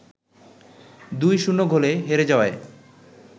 ২-০ গোলে হেরে যাওয়ায়